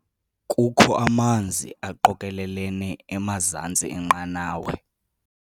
Kukho amanzi aqokelelene emazantsi enqanawa.